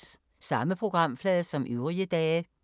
Samme programflade som øvrige dage